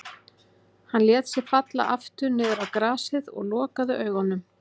Hann lét sig falla aftur niður á grasið og lokaði augunum.